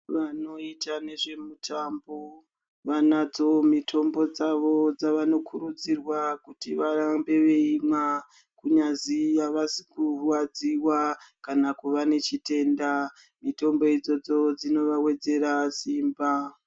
Vanoita nezvemutambo, vanadzo mitombo dzavo dzavanokurudzirwa kuti varambe veimwa, kunyazi havasi kurwadziwa kana kuva nechitenda. Mitombo idzodzo dzinovawedzera simba.